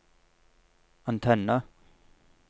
antenne